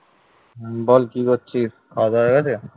বল কি করছিস খাওয়া দাওয়া হয়ে গেছে ?